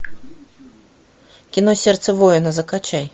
кино сердце воина закачай